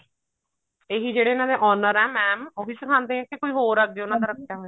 ਇਹ ਜਿਹੜੇ ਇਹਨਾ ਦੇ owner ਐ mam ਉਹੀ ਸਿਖਾਉਂਦੇ ਨੇ ਕੇ ਕੋਈ ਹੋਰ ਐ ਅੱਗੇ ਉਹਨਾ ਦਾ ਰੱਖਿਆ ਹੋਇਆ